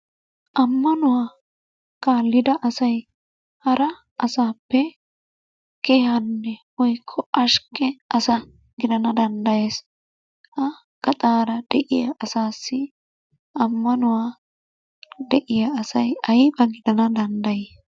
Ammanuwa kallida asay hara asaappe kehanne woykko asa gidana danddayees. Ha gaxaara de'iya asaassi ammanuwaa de'iya asay ayba gidana danddayi?